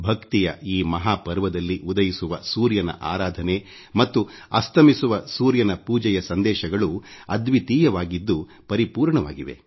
ಭಕ್ತಿಯ ಈ ಮಹಾಪರ್ವದಲ್ಲಿ ಉದಯಿಸುವ ಸೂರ್ಯನ ಆರಾಧನೆ ಮತ್ತು ಅಸ್ತಮಿಸುವ ಸೂರ್ಯನ ಪೂಜೆಯ ಸಂದೇಶಗಳು ಅದ್ವಿತೀಯವಾಗಿದ್ದು ಪರಿಪೂರ್ಣವಾಗಿವೆ